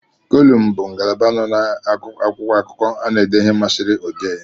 Kolumu bụ ngalaba nọ n'akwụkwọakụkọ a na ede ihe masịrị odee